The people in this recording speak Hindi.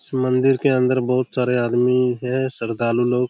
इस मंदिर के अंदर बहुत सारे आदमी है श्रदालु लोग --